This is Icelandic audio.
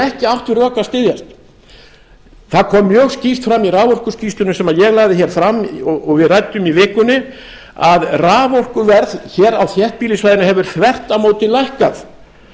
ekki átt við rök að styðjast það kom mjög skýrt fram í raforkuskýrslunni sem ég lagði hér fram og við ræddum í vikunni að raforkuverð hér á þéttbýlissvæðinu hefur þvert á móti lækkað